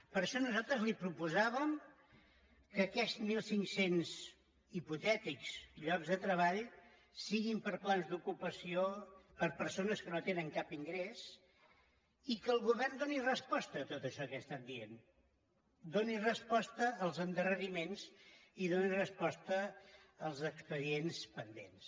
per això nosaltres li proposàvem que aquests mil cinc cents hipotètics llocs de treball siguin per a plans d’ocupació per a persones que no tenen cap ingrés i que el govern doni resposta a tot això que he estat dient doni resposta als endarreriments i doni resposta als expedients pendents